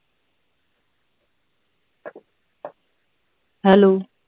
hello